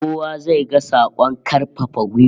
Kowa zai ga sakon karfafa gwiwa